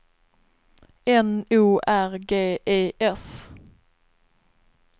N O R G E S